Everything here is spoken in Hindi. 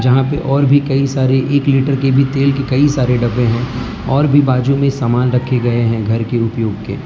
यहां पे और भी कई सारे एक लीटर के भी तेल के कई सारे डब्बे हैं और भी बाजू में सामान रखे गए हैं घर के उपयोग के।